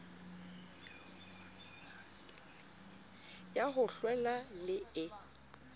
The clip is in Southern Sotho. ya ho hlwela le e